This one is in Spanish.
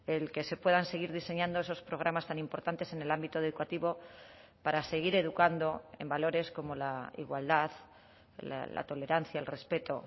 el que se puedan seguir diseñando esos programas tan importantes en el ámbito educativo para seguir educando en valores como la igualdad la tolerancia el respeto